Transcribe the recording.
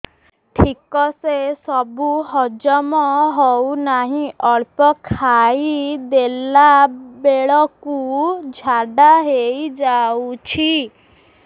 ଠିକସେ ସବୁ ହଜମ ହଉନାହିଁ ଅଳ୍ପ ଖାଇ ଦେଲା ବେଳ କୁ ଝାଡା ହେଇଯାଉଛି